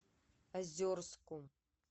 озерску